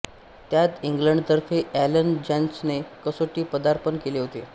त्यात इंग्लंडतर्फे एलन जोन्सने कसोटी पदार्पण केले होते